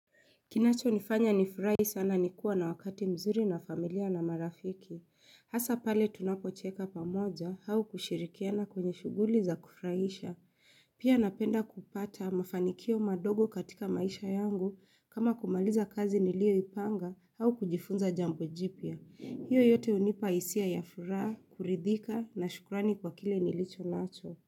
Kinachonifanya nifurai sana ni kuwa na wakati mzuri na familia na marafiki. Hasa pale tunapocheka pamoja hau kushirikiana kwenye shughuli za kufrahisha. Pia napenda kupata mafanikio madogo katika maisha yangu kama kumaliza kazi nilioipanga hau kujifunza jambo jipya. Hiyo yote hunipa hisia ya furaha, kuridhika na shukrani kwa kile nilichonacho.